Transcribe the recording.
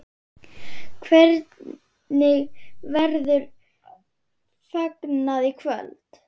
Hvernig verður fagnað í kvöld?